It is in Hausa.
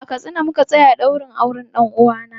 A Katsina muka tsaya ɗaurin auren ɗan uwana.